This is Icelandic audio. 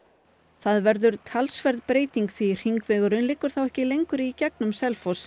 það verður talsverð breyting því hringvegurinn liggur þá ekki lengur í gegnum Selfoss